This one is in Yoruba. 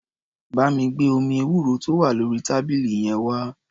Bá mi gbé omi ewúro tó wà lórí tábìlì yẹn wá.